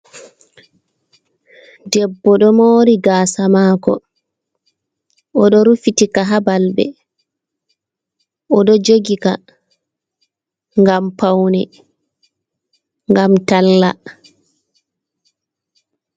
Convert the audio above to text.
Debbo do mori gasa mako oɗo rufitika ha balbe, oɗo jogi ka ngam paune, ngam talla.